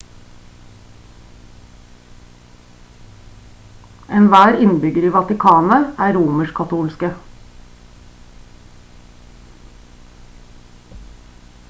enhver innbygger i vatikanet er romersk-katolske